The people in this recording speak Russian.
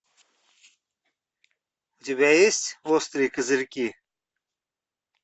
у тебя есть острые козырьки